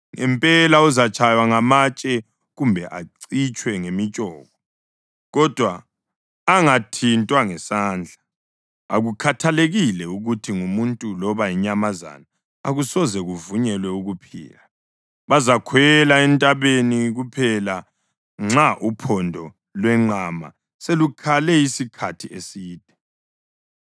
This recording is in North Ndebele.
Ngempela uzatshaywa ngamatshe kumbe acitshwe ngemitshoko kodwa angathintwa ngesandla. Akukhathalekile ukuthi ngumuntu loba yinyamazana akusoze kuvunyelwe ukuphila. Bazakhwela entabeni kuphela nxa uphondo lwenqama selukhale isikhathi eside.”